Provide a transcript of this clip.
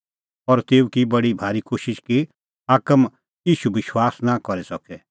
तेखअ शाऊलै ज़सरअ नांअ पल़सी बी आसा पबित्र आत्मां करै भर्हुई तेऊ लै कोहरअ भाल़ी करै बोलअ